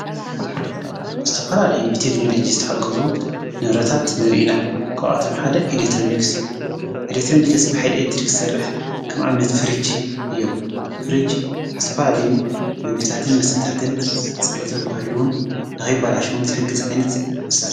ዝተፋላለይ ብቴክኖሎጅ ዝተሓገዙ ንብረታት ንርኢና ክብኣቶም ሓደ ኤሌትሮንክስ እዩ ኤኢሌትሮንክስ በይል እድሪክሠርሕ ከም ዓምነት ፍርጅ እዮም ፍርጅ ዝተፋላልዩ ምግታትን መሥታትን ጽብቶም ሕሉውን ድኸበላሽውን ዝሕጊ ዝ ዓይነት እዩ።